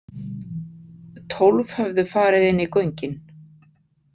Tólf höfðu farið inn í göngin.